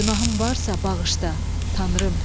Günahım varsa bağışda, Tanrım!